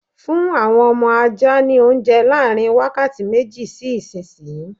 Fún àwọn ọmọ ajá ní oúnje láàrin wákàtí méjì sí ìsìnyí!